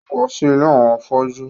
Yóò wá sí ilé àwọn afọ́jú